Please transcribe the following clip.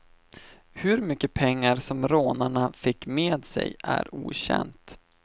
Hur mycket pengar som rånarna fick med sig är okänt.